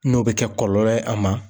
N'o bɛ kɛ kɔlɔlɔ ye a ma.